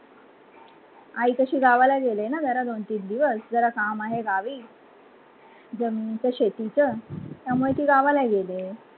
आई कसी गावला गेली ना जरा दोन तीन दिवस, जरा काम आहे गावी जामिनच शेतीच, त्यामुळे ती गावाला गेली आहे.